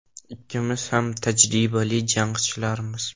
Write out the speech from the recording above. “Ikkimiz ham tajribali jangchilarmiz.